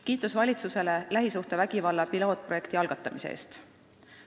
Kiitus valitsusele lähisuhtevägivalla pilootprojekti algatamise eest.